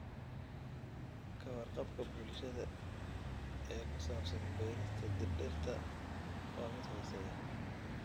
Ka warqabka bulshada ee ku saabsan beerista dhirta waa mid hooseeya.